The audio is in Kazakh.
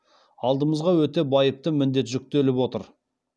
алдымызға өте байыпты міндет жүктеліп отыр